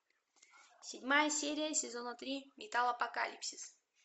седьмая серия сезона три металл апокалипсис